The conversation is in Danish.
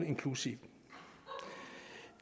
inclusive